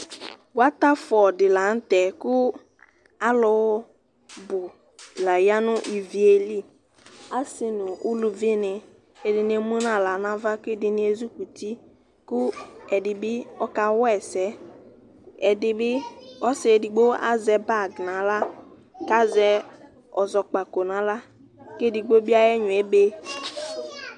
Latafɔ dilaŋtɛ ku alu bu la yanu iviiéli Asi nu uluvini ɛdini émunu aɣĺa nava kɛ ɛdini ézikuti ku ɛdi akɔ wɛsɛ, ɛdibi, ɔsi édigbo azɛ bag na aɣla, ka zɛ ɔzɔkpako na aɣla, ké édigbo bi ayibɛynon ébe